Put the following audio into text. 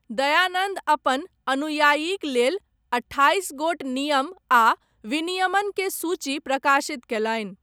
दयानन्द अपन अनुयायीक लेल अट्ठाईस गोट नियम आ विनियमन के सूची प्रकाशित कयलनि।